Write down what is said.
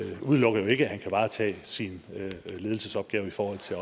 udelukker jo ikke at kan varetage sin ledelsesopgave i forhold til